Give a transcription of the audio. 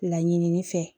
Laɲini fɛ